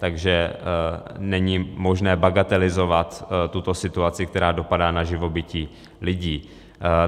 Takže není možné bagatelizovat tuto situaci, která dopadá na živobytí lidí.